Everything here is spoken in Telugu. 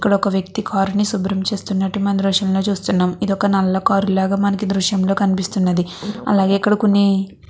ఒక వ్యక్తి కార్ ని శుభ్రం చేస్తునట్టు మనం ఈ దృశ్యంలో చూస్తున్నాం. ఇది ఒక నల్ల కార్ లాగా మనకి ఈ దృశ్యం లో కనిపిస్తున్నది. అలాగే ఇక్కడ కొన్ని--